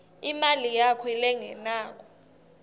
imali yakho lengenako